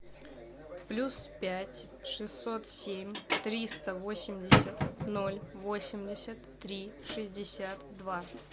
плюс пять шестьсот семь триста восемьдесят ноль восемьдесят три шестьдесят два